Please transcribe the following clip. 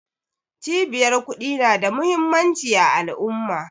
Cibiyar ƙudi na da muhimmanci a al'umma